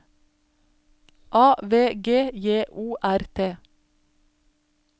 A V G J O R T